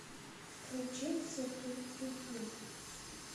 включить сергей ильин